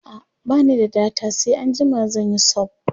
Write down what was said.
a'a bani da data sai anjima zanyi sub